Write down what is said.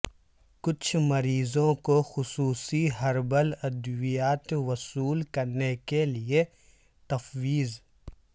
کچھ مریضوں کو خصوصی ہربل ادویات وصول کرنے کے لئے تفویض